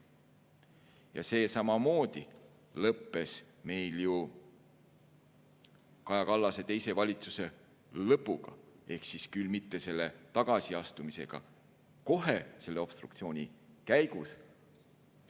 Ja see lõppes meil ju samamoodi Kaja Kallase teise valitsuse lõpuga, ehkki küll mitte selle tagasiastumisega kohe obstruktsiooni käigus.